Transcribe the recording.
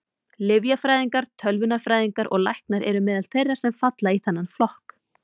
Lyfjafræðingar, tölvunarfræðingar og læknar eru meðal þeirra sem falla í þennan flokk.